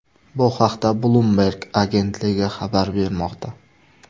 Bu haqda Bloomberg agentligi xabar bermoqda .